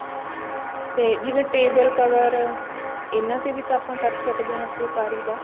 ਤੇ ਜਿਵੇਂ table cover ਇਹਨਾਂ ਤੇ ਵੀ ਤਾਂ ਆਪਾਂ ਕਰ ਸਕਦੇ ਹਾਂ ਫੁਲਕਾਰੀ ਦਾ